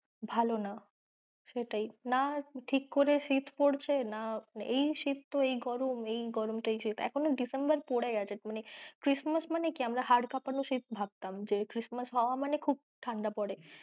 ভালো না সেটাই, না ঠিক করে শীত পড়ছে না, এই শীত তো এই গরম এই গরম তো এই শীত এখনও December পড়ে গেছে মানে christmass মানে কি আমরা হাড় কাঁপানো শীত ভাবতাম যে christmass হওয়া মানে খুব ঠাণ্ডা পরে।